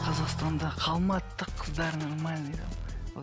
қазақстанда қалмады да қыздар нормальный